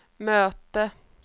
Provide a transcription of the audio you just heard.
mötte